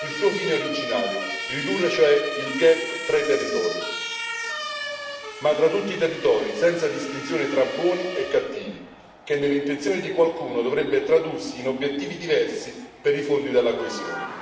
il suo fine originario ridurre, cioè, il gap tra i territori, ma tra tutti i territori, senza distinzioni tra buoni e cattivi, che nelle intenzioni di qualcuno dovrebbe tradursi in obiettivi diversi per i fondi della coesione.